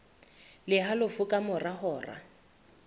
le halofo ka mora hora